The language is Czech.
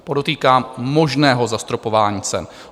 Podotýkám, možného zastropování cen.